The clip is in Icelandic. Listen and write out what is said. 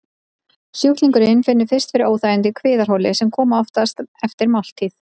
Sjúklingurinn finnur fyrst fyrir óþægindum í kviðarholi, sem koma oftast eftir máltíð.